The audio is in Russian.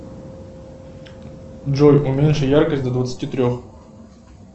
джой уменьши яркость до двадцати трех